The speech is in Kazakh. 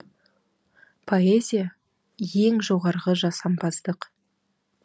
поэзия ең жоғарғы жасампаздық